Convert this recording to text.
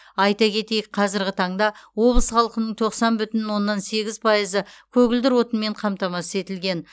айта кетейік қазірғі таңда облыс халқының тоқсан бүтін оннан сегіз пайызы көгілдір отынмен қамтамасыз етілген